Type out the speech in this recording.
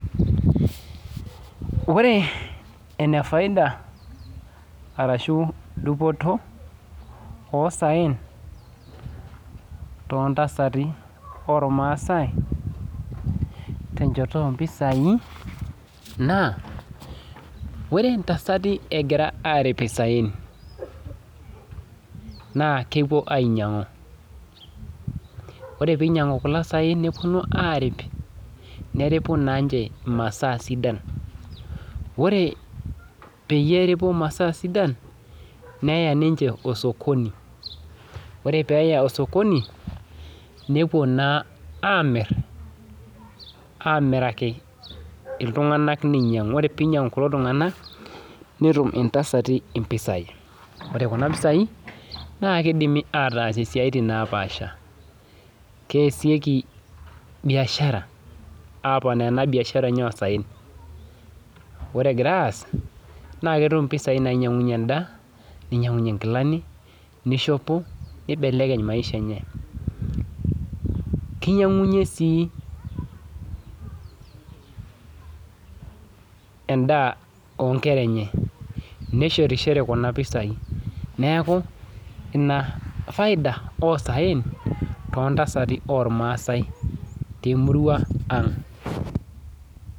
Ore enefaida arashu dupoto osaen too ntasati olmaasai, dupoto ompisai, naa ore ntasati egira aaripita saen, naa kepo ainyang'u, ore peinyang'u kuna saen, neponu aarip, neripu naa ninche imasaa sidan, ore peyie eripu masaa sidan, neya ninche osokoni, ore peeya osokoni, nepuo naa aamir, aamiraki iltunganak neinyang'u kulo tunganak, netum ntasati impisai, ore kuna mpisai, naa keidimi ataasie siatin napaasha, keasieki mbiashara, aaponu ana mbiashara enye osaen, ore egira aas, naa ketum impisai nainyengunye indaa, neinyengunye ingilani, neishopo, neibelekeny emaisha enye. Keinyangunye sii endaa oonkera enye, neshetishore kuna mpisai neaku inafaida osaen to ntasati olmaasai te murua aang'.